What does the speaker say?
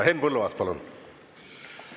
Henn Põlluaas, palun!